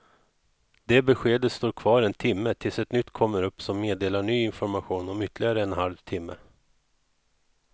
Det beskedet står kvar en timme tills ett nytt kommer upp som meddelar ny information om ytterligare en halv timme.